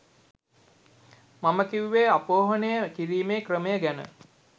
මම කිව්වෙ අපෝහනය කිරීමේ ක්‍රමය ගැන.